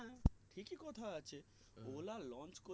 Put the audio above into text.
হেঁ ঠিকই কথা আছে ola launch